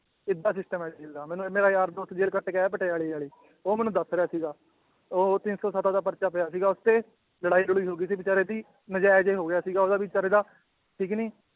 ਏਦਾਂ system ਹੈ jail ਦਾ ਮੈਨੂੰ ਮੇਰਾ ਯਾਰ ਦੋਸਤ ਜੇਲ੍ਹ ਕੱਟ ਕੇ ਆਇਆ ਪਟਿਆਲੇ ਵਾਲੀ ਉਹ ਮੈਨੂੰ ਦੱਸ ਰਿਹਾ ਸੀਗਾ, ਉਹ ਤਿੰਨ ਸੌ ਸੱਤ ਦਾ ਪਰਚਾ ਪਿਆ ਸੀਗਾ ਉਹ ਤੇ, ਲੜਾਈ ਲੜੂਈ ਹੋ ਗਈ ਸੀ ਬੇਚਾਰੇ ਦੀ, ਨਜਾਇਜ਼ ਹੋ ਗਿਆ ਸੀਗਾ ਉਹਦਾ ਵੀ ਬੇਚਾਰੇ ਦਾ ਠੀਕ ਨੀ